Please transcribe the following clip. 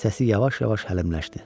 Səsi yavaş-yavaş həlimləşdi.